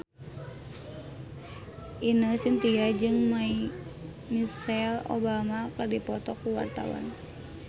Ine Shintya jeung Michelle Obama keur dipoto ku wartawan